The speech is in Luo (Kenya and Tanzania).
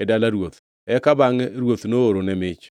e dala ruoth, eka bangʼe ruoth noorone mich.